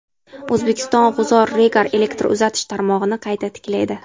O‘zbekiston G‘uzor–Regar elektr uzatish tarmog‘ini qayta tiklaydi.